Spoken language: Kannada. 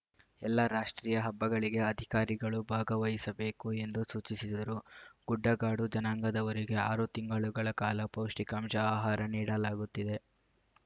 ಎಲ್ಲಾ ರಾಷ್ಟೀಯ ಹಬ್ಬಗಳಿಗೆ ಅಧಿಕಾರಿಗಳು ಭಾಗವಹಿಸಬೇಕು ಎಂದು ಸೂಚಿಸಿದರು ಗುಡ್ಡಗಾಡು ಜನಾಂಗದವರಿಗೆ ಆರು ತಿಂಗಳುಗಳ ಕಾಲ ಪೌಷ್ಟಿಕಾಂಶ ಆಹಾರ ನೀಡಲಾಗುತ್ತಿದೆ